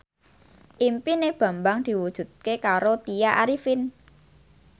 impine Bambang diwujudke karo Tya Arifin